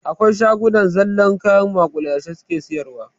Akwai shagunan da zallar kayan maƙulashe suke siyarwa.